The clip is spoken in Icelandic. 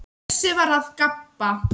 Bjössi var að gabba.